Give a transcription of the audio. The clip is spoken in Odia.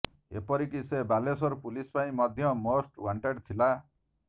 ଏପରିକି ସେ ବାଲେଶ୍ୱର ପୁଲିସ୍ ପାଇଁ ମଧ୍ୟ ମୋଷ୍ଟ ୱାଣ୍ଟେଡ୍ ଥିଲା